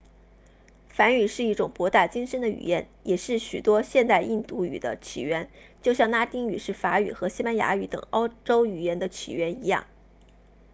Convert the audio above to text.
梵语是一种博大精深的语言也是许多现代印度语的起源就像拉丁语是法语和西班牙语等欧洲语言的起源一样